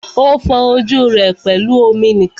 O fọ ojú rẹ pẹlú omi nìkan.